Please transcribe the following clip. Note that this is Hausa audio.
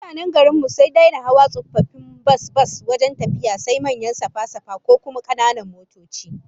Mutanen garin mu sun daina hawa tsofaffin bas bas wajen tafiya, sai manyan safa-safa, ko kuma kananan motoci